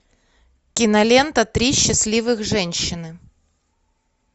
кинолента три счастливых женщины